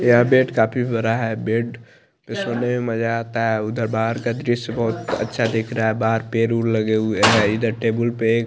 यह बेड काफी बरा है बेड पे सोने में मजा आता है उधर बाहर का दृश्य बहुत अच्छा दिख रहा है बाहर पेड़ उर लगे हुए हैं इधर टेबुल पे--